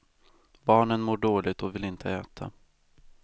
Barnen mår dåligt och vill inte äta.